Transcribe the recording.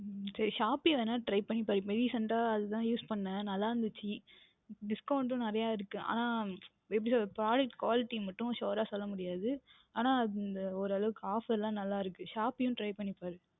உம் சரி Shopee எதாவுது Try பண்ணி பாருங்கள் இப்பொழுது Recent அஹ் அது தான் Use பன்னினேன் நன்றாக இருந்தது நிறைய Discount உம் இருந்தது ஆனால் எப்படி சொல்லுவது Product quality மற்றும் Sure ராக சொல்ல முடியாது ஆனால் இந்த ஒரு அளவிற்கு Offer லாம் நன்றாக இருக்கின்றது Try பண்ணி பாருங்கள்